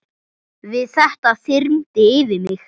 Við þetta þyrmdi yfir mig.